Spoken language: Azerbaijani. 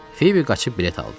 Fibi qaçıb bilet aldı.